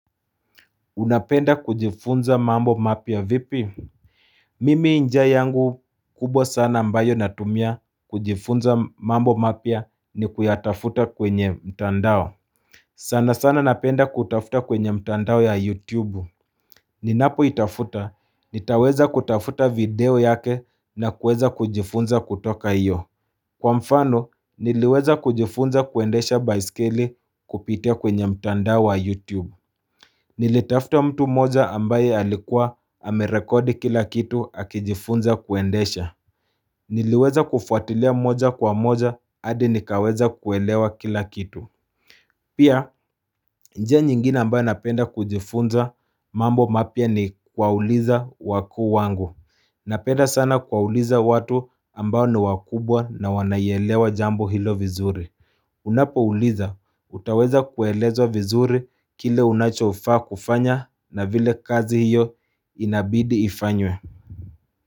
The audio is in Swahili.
Unapenda kujifunza mambo mapya vipi? Mimi njia yangu kubwa sana ambayo natumia kujifunza mambo mapya nikuyatafuta kwenye mtandao sana sana napenda kutafuta kwenye mtandao ya YouTube Ninapoitafuta, nitaweza kutafuta video yake na kuweza kujifunza kutoka iyo Kwa mfano niliweza kujifunza kuendesha baiskeli kupitia kwenye mtandao wa YouTube Nilitafuta mtu moja ambaye alikuwa amerekodi kila kitu akijifunza kuendesha Niliweza kufuatilia moja kwa moja adi nikaweza kuelewa kila kitu Pia njia nyingine ambayo napenda kujifunza mambo mapya ni kuwauliza wakuu wangu Napenda sana kuwauliza watu ambayo ni wakubwa na wanaelewa jambo hilo vizuri Unapouliza, utaweza kuelezwa vizuri kile unachofaa kufanya na vile kazi hiyo inabidi ifanywe.